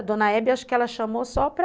A dona Hebe, acho que ela chamou só para...